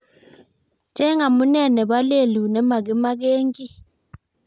Cheng amune nebo lelut nemagimagengi